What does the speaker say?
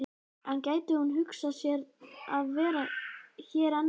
En gæti hún hugsað sér að vera hér enn lengur?